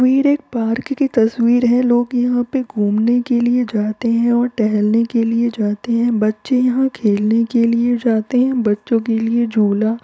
ये एक पार्क की तस्वीर है । लोग यहाँ पे घूमने के लिए जाते हैं और टहलने के लिए जाते हैं बच्चे यहां खेलने के लिए जाते हैं ।बच्चों के लिए झूला --